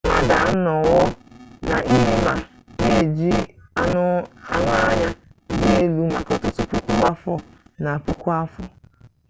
mmadụ anọwo na-eme ma na-eji anụ anya dị elu maka ọtụtụ puku afọ na puku afọ